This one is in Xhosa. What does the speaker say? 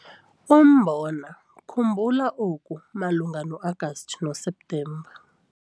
UMBONA - khumbula oku malunga noAgasti noSeptemba